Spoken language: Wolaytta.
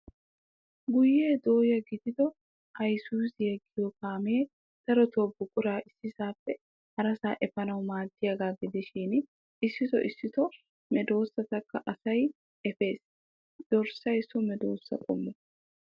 Guyye dooya de'iyo Isuzu giyo kaamee darotoo buquraa issisaappe harasaa efanawu maaddiyaagaa gidishin issitoo issitoo medoossatakka asay efes. Dirssay so medoossa qommo.